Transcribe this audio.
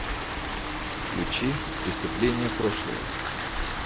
включи преступления прошлого